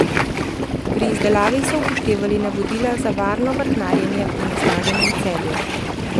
Pri izdelavi so upoštevali navodila za varno vrtnarjenja v onesnaženem Celju.